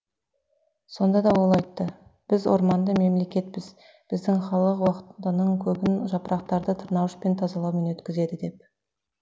сонда ол айтты біз орманды мемлекетпіз біздің халық уақытының көбін жапырақтарды тырнауышпен тазалаумен өткізеді деп